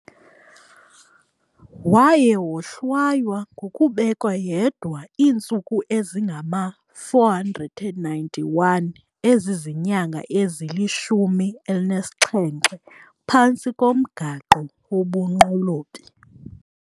Waye wohlwaywa ngokubekwa yedwa iintsuku ezingama-491, ezizinyanga ezili-17, phantsi komgaqo wobunqolobi.